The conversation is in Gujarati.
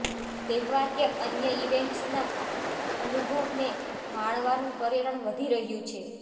તહેવાર કે અન્ય ઇવેન્ટ્સના અનુભવને માણવાનું પર્યટન વધી રહ્યું છે